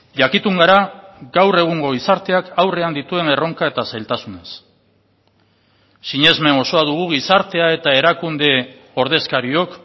jakitun gara gaur egungo gizarteak aurrean dituen erronka eta zailtasunez sinesmen osoa dugu gizartea eta erakunde ordezkariok